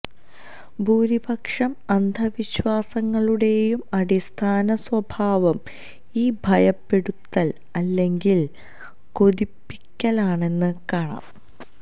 ഭൂരിപക്ഷം അന്ധവിശ്വാസങ്ങളുടെയും അടിസ്ഥാന സ്വഭാവം ഈ ഭയപ്പെടുത്തല് അല്ലെങ്കില് കൊതിപ്പിക്കലാണെന്ന് കാണാം